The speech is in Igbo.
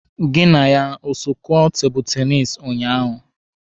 Gị na ya o so kụọ tebụlụ tenisi ụnyaahụ?